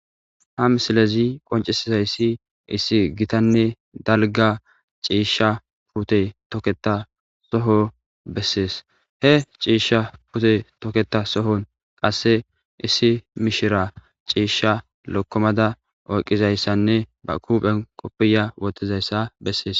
Ha misilezi qonccissizayssi issi githanne dalgga ciishsha puuthee thokeththa thoho bessees; he ciishshsa puuthe thokeththa sohon qassi issi mishiraa ciishshaa lokkomaza oyqqizayssanne ba huuphen koppiyyiya woththizayssa besses.